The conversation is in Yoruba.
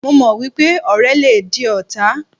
Mo mọ̀ wípé ọ̀rẹ́ le di ọ̀tá.